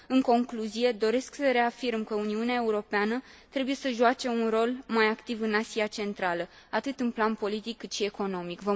În concluzie, doresc să reafirm că Uniunea Europeană trebuie să joace un rol mai activ în Asia Centrală, atât în plan politic, cât și economic.